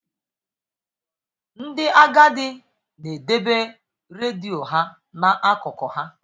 Ndị agadi na-edebe redio ha n'akụkụ ha.